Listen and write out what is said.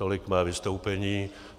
Tolik mé vystoupení.